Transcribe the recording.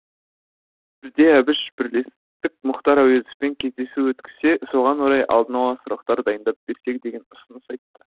бірде әбіш бірлестік мұхтар әуезовпен кездесу өткізсе соған орай алдын ала сұрақтар дайындап берсек деген ұсыныс айтты